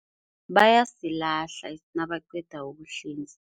Bayasilahla nabaqedako ukuhlinza.